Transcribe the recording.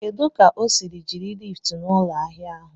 Kedụ ka o si jiri liftu n'ụlọ ahịa ahụ?